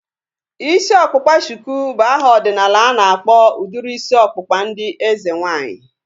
Isi ọkpụkpa shuku bụ aha ọdịnala ana akpọ udiri isi ọkpụkpa ndị eze nwaanyị